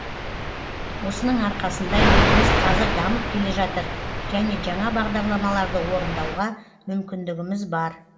осының арқасында еліміз қазір дамып келе жатыр және жаңа бағдарламаларды орындауға мүмкіндігіміз бар